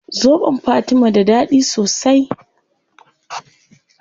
Zobon fatima da dadi sosai